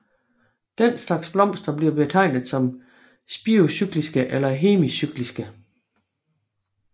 Den slags blomster bliver betegnet som spirocykliske eller hemicykliske